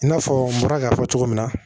I n'a fɔ n bɔra k'a fɔ cogo min na